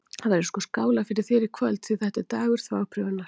Það verður sko skálað fyrir þér í kvöld, því þetta er dagur þvagprufunnar!